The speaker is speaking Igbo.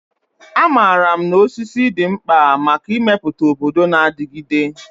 Amaara m na osisi dị mkpa maka ịmepụta obodo na-adigide.